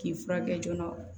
K'i furakɛ joona